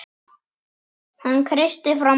Hann kreisti fram bros.